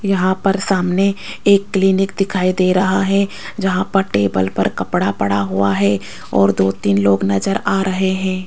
यहां पर सामने एक क्लीनिक दिखाई दे रहा है जहां पर टेबल पर कपड़ा पड़ा हुआ है और दो तीन लोग नजर आ रहे है।